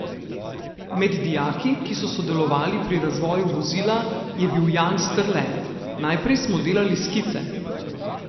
Med dijaki, ki so sodelovali pri razvoju vozila, je bil Jan Strle: "Najprej smo delali skice.